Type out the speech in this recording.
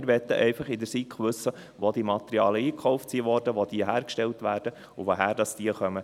Wir möchten seitens der SiK einfach wissen, wo diese Materialien eingekauft wurden, wo sie hergestellt werden und woher sie kommen.